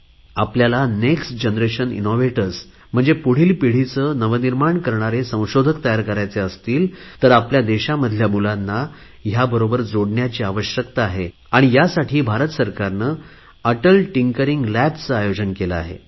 आपल्या देशामधील मुलांना याबरोबर जोडण्याची आवश्यकता आहे आणि यासाठी भारत सरकारने Atal tinkering labs Atal tinkering labs चे आयोजन केले आहे